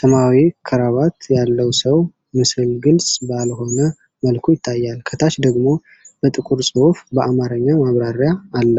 ሰማያዊ ክራቫት ያለው ሰው ምስል ግልጽ ባልሆነ መልኩ ይታያል። ከታች ደግሞ በጥቁር ጽሑፍ በአማርኛ ማብራሪያ አለ።